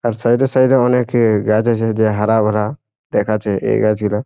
আর সাইডে সাইড এর অনেক গাছ আছে যে হারা ভারা দেখাচ্ছে এই গাছগুলো।